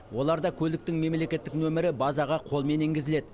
оларда көліктің мемлекеттік нөмірі базаға қолмен енгізіледі